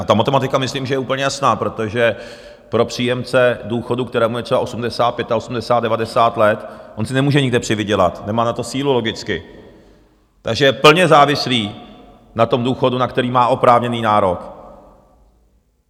A ta matematika myslím, že je úplně jasná, protože pro příjemce důchodu, kterému je třeba 80, 85, 90 let, on si nemůže nikde přivydělat, nemá na to sílu logicky, takže je plně závislý na tom důchodu, na který má oprávněný nárok.